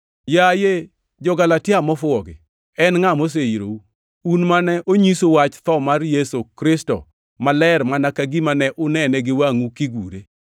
Yaye jo-Galatia, mofuwogi! En ngʼa moseirou? Un mane onyisu wach tho mar Yesu Kristo maler mana ka gima ne unene gi wangʼu kigure!